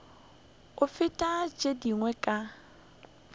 go feta tše dingwe ka